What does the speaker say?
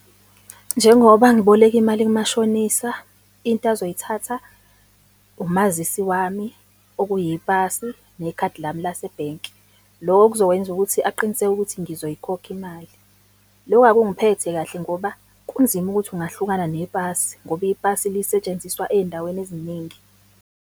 Njengoba ngiboleka imali kumashonisa, into azoyiphatha, umazisi wami okuyipasi nekhadi lami lasebhenki. Loko kuzokwenza ukuthi aqiniseke ukuthi ngizoyikhokha imali. Loko akungiphathi kahle ngoba kunzima ukuthi ungahlukana nepasi ngoba ipasi lisetshenziswa ey'ndaweni eziningi.